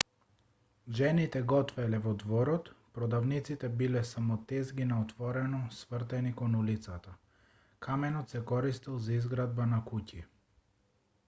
жените готвеле во дворот продавниците биле само тезги на отворено свртени кон улицата каменот се користел за изградба на куќи